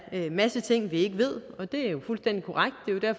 masse ting vi ikke ved det er jo fuldstændig korrekt